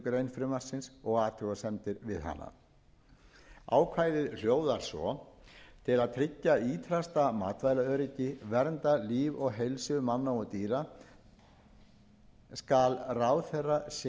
grein frumvarpsins og athugasemdir við hana ákvæðið hljóðar svo til að tryggja ýtrasta matvælaöryggi og vernda líf og heilsu manna og dýra skal ráðherra setja reglugerð þar sem að kveðið